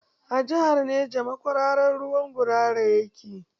A jihar Neja makwararan ruwan gurara yake.